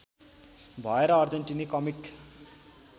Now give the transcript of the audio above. भएर अर्जेन्टिनी कमिक